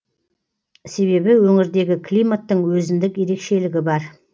себебі өңірдегі климаттың өзіндік ерекшелігі бар